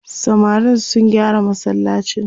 samarin sun gyara masallacin